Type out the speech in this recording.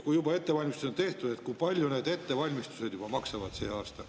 Kui juba ettevalmistused on tehtud, siis kui palju need ettevalmistused sel aastal maksavad?